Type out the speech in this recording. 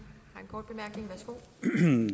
nu